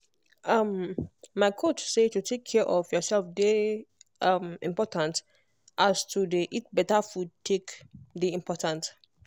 um my coach say to take care of yourself dey um important like as to dey eat better food take dey important